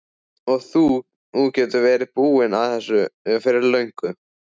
Og þú áttir að vera búinn að þessu fyrir löngu!